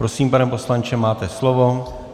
Prosím, pane poslanče, máte slovo.